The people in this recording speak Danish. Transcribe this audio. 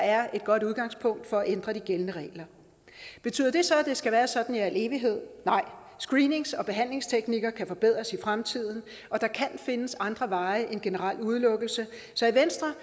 er et godt udgangspunkt for at ændre de gældende regler betyder det så at det skal være sådan i al evighed nej screenings og behandlingsteknikker kan forbedres i fremtiden og der kan findes andre veje end generel udelukkelse i venstre